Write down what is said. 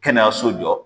Kɛnɛyaso jɔ